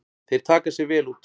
Þeir taka sig vel út.